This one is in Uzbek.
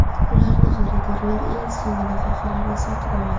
Ularni xaridorlar eng so‘nggi daqiqalarda sotib oladi.